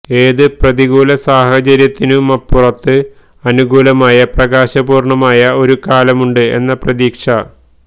ഏതു പ്രതികൂല സാഹചര്യത്തിനുമപ്പുറത്ത് അനുകൂലമായ പ്രകാശപൂര്ണമായ ഒരു കാലമുണ്ട് എന്ന പ്രതീക്ഷ